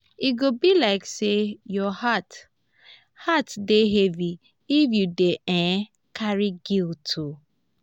e go be like sey your heart heart dey heavy if you dey um carry guilt. um